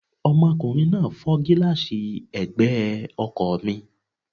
Ọmọkùnrin náà fọ́ gílààsì ẹ̀gbẹ́ ọkọ̀ mi